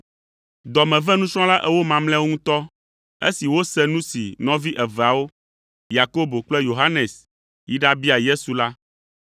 Dɔ me ve nusrɔ̃la ewo mamlɛawo ŋutɔ esi wose nu si nɔvi eveawo, Yakobo kple Yohanes, yi ɖabia Yesu la.